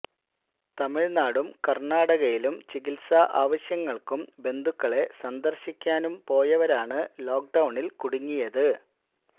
തമിഴ്നാടും കർണാടകയിലും ചികിത്സാ ആവശ്യങ്ങൾക്കും ബന്ധുക്കളെ സന്ദർശിക്കാനും പോയവരാണ് ലോക്ക് ഡൌണിൽ കുടുങ്ങിയത്